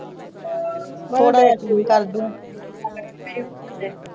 ਥੋੜਾ ਜਹਿਆ ਠੀਕ ਲੱਗਦੇ ਹੋ।